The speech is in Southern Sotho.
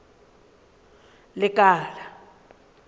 lekala